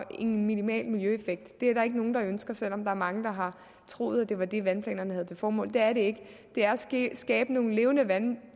en minimal miljøeffekt det er der ikke nogen der ønsker selv om der er mange der har troet at det var det vandplanerne havde til formål det er det ikke det er at skabe nogle levende vandløb